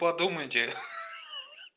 подумайте ха-ха